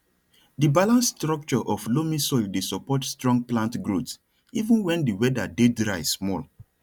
di balanced structure of loamy soil dey support strong plant growth even when di weather dey dry small